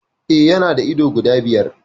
E, yana da ido guda biyar.